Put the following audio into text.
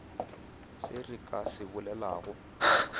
se re ka se bolelago